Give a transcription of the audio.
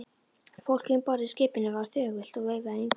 Fólkið um borð í skipinu var þögult og veifaði engum.